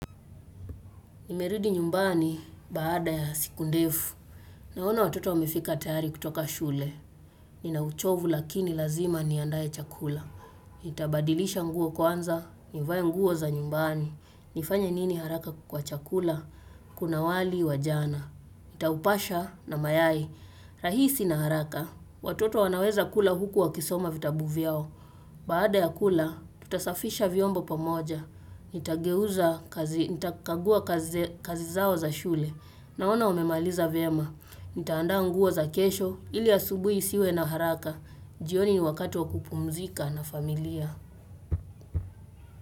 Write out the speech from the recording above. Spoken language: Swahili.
Nimerudi nyumbani baada ya siku ndefu. Naona watoto wamefika tayari kutoka shule. Nina uchovu lakini lazima niandaae chakula. Nitabadilisha nguo kwanza, nivae nguo za nyumbani. Nifanye nini haraka kwa chakula? Kuna wali wa jana. Nitaupasha na mayai. Rahisi na haraka. Watoto wanaweza kula huku wakisoma vitabu vyao. Baada ya kula, tutasafisha vyombo pamoja. Nitageuza kazi, nitakagua kazi zao za shule Naona umemaliza vyema Nitaanda nguo za kesho, ili asubuhi siwe na haraka jioni ni wakati wa kupumzika na familia.